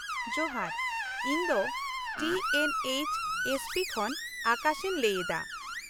-ᱡᱚᱦᱟᱨ, ᱤᱧ ᱫᱚ T N H S P ᱠᱷᱚᱱ ᱟᱠᱟᱥ ᱤᱧ ᱞᱟᱹᱭ ᱮᱫᱟ ᱾